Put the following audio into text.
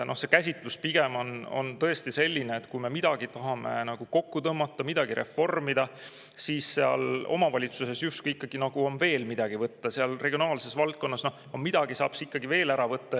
See käsitlus pigem on tõesti selline, et kui me midagi tahame kokku tõmmata, midagi reformida, siis seal omavalitsuses justkui nagu on ikkagi veel midagi võtta, seal regionaalses valdkonnas saaks midagi veel ära võtta.